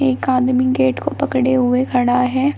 एक आदमी गेट को पकड़े हुए खड़ा है।